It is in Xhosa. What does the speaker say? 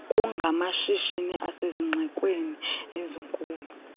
kungamashishini asezixekweni ezikhulu